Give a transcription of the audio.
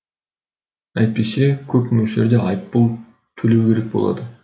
әйтпесе көп мөлшерде айыппұл төлеу керек болады